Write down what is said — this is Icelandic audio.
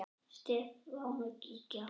Stefán og Gígja.